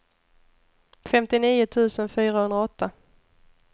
femtionio tusen fyrahundraåtta